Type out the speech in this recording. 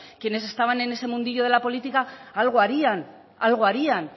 quienes estaban en ese mundillo de la política algo harían algo harían